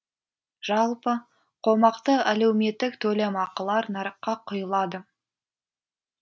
жалпы қомақты әлеуметтік төлемақылар нарыққа құйылады